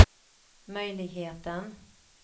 möjligheten